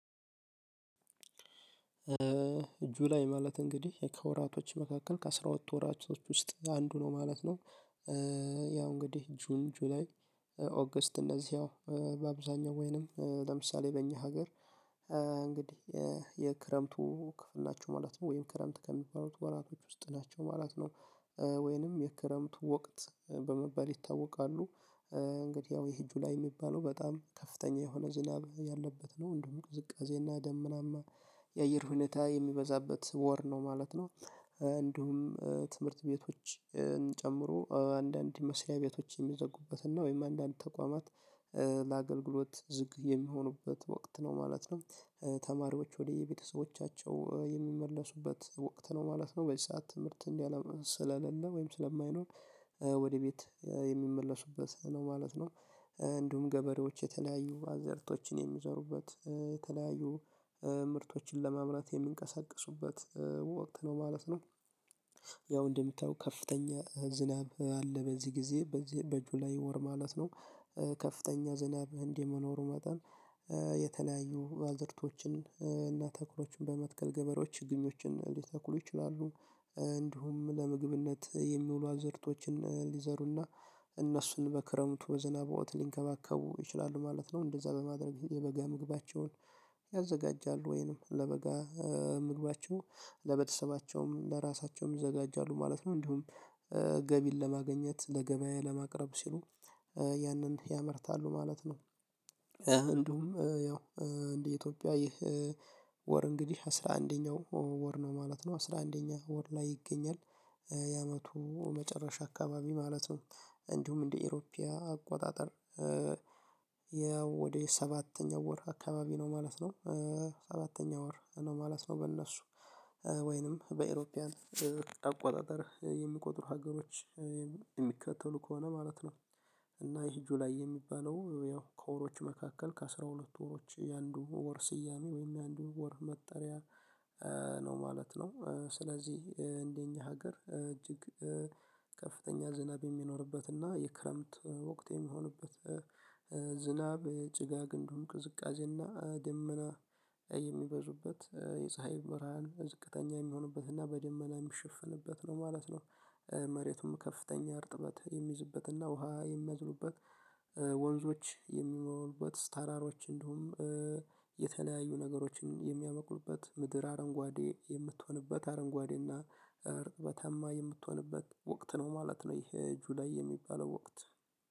እጁ ላይ ማለት እንግዲህ ከወራቶች መካከል ከአስራ ሁለት ወራቶች ውስጥ አንዱ ነው ማለት ነው። ያው እንግዲህ ጁን ጁላይ ኦገስት እነዚህ ያው በአብዛኛው ወይንም ለምሳሌ በእኛ ሀገር እንግዲህ የክረምቱ ክፍል ናቸው ማለት ነው። ወይም ክረምት ከሚባሉት ወራቶች ውስጥ ናቸው ማለት ነው። ወይንም የክረምት ወቅት በመባል ይታወቃሉ። እንግዲህ ያው ይሄ ጁላይ ሚባለው በጣም ከፍተኛ የሆነ ዝናብ ያለበት ነው እንደውም ቅዝቃዜና ደመናማ የአየር ሁኔታ የሚበዛበት ወር ነው ማለት ነው። እንዲሁም ትምህርት ቤቶች ጨምሮ አንዳንድ መስሪያ ቤቶችን የሚዘጉበትና ወይም አንዳንድ ተቋማት ለአገልግሎት ዝግ የሚሆኑበት ወቅት ነው ማለት ነው። ተማሪዎች ወደ የቤተሰቦቻቸው የሚመለሱበት ወቅት ነው ማለት ነው። በዚህ ሰዓት ትምህርት እንዲህ ስለሌለ ወይም ስለማይኖር ወደ ቤት የሚመለሱበት ነው ማለት ነው። እንዲሁም ገበሬዎች የተለያዩ አዘርቶችን የሚዘሩበት የተለያዩ ምርቶችን ለመምረት የምንቀሳቀሱበት ወቅት ነው ማለት ነው። ያው እንደሚታየው ከፍተኛ ዝናብ አለ በዚህ ጊዜ በጁላይ ወር ማለት ነው። ከፍተኛ ዝናብ እንዲህ መኖሩ መጠን የተለያዩ አዘርቶችን እና ተክሎችን በመትከል ገበሬዎች ችግኞችን ሊተኩሉ ይችላሉ። እንዲሁም ለምግብነት የሚውሉ አዘርቶችን ሊዘሩና እነሱን በክረምቱ በዝናብ ወቅት ሊንከባከቡ ይችላሉ ማለት ነው። እንደዛ በማድረግ የበጋ ምግባቸውን ያዘጋጃሉ ወይንም ለበጋ ምግባቸው ለቤተሰባቸውም ለራሳቸውም ይዘጋጃሉ ማለት ነው እንዲሁም ገቢን ለማግኘት ለገበያ ለማቅረብ ሲሉ ያንን ያመርታሉ ማለት ነው። እንደውም ያው እንደ ኢትዮጵያ ይህ ወር እንግዲህ አስራ አንደኛው ወር ነው ማለት ነው። አስራ አንደኛ ወር ላይ ይገኛል የአመቱ መጨረሻ አካባቢ ማለት ነው እንዲሁም እንደ አይሮፒያ አቆጣጠር ወደ ሰባተኛው ወር አካባቢ ነው ማለት ነው። ሰባተኛው ወር ነው ማለት ነው በእነሱ ወይንም በአውሮፓውያን አቆጣጠር የሚቆጥሩ ሀገሮች የሚከተሉ ከሆነ ማለት ነው እና ይሄ ጁላይ የሚባለው ያው ከወሮች መካከል ከአስራ ሁለት ወሮች የአንዱ ወር ስያሜ ወይም የአንዱ ወር መጠሪያ ነው ማለት ነው ስለዚህ እንደኛ ሀገር እጅግ ከፍተኛ ዝናብ የሚኖርበት እና የክረምት ወቅት የሚሆንበት ዝናብ ጭጋግ እንደውም ቅዝቃዜና ደመና የሚበዙበት የፀሀይ ብርሃን ዝቅተኛ የሚሆንበትና በደመና የሚሸፍንበት ነው ማለት ነው። መሬቱም ከፍተኛ እርጥበት የሚይዝበትና ውሃ የሚያዝኑበት ወንዞች የሚሞሉበት ተራሮች እንዲሁም የተለያዩ ነገሮችን የሚያመቅሉበት ምድር አረንጓዴ የምትሆንበት አረንጓዴ እርጥበታማ የምትሆንበት ወቅት ነው ማለት ነው። ይሄ ጁላይ የሚባለው ወቅት